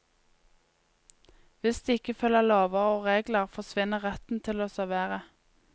Hvis de ikke følger lover og regler, forsvinner retten til å servere.